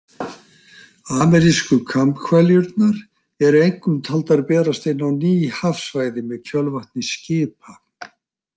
Amerísku kambhveljurnar eru einkum taldar berast inn á ný hafsvæði með kjölvatni skipa.